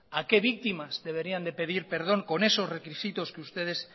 a qué víctimas deberían de pedir perdón con esos requisitos que ustedes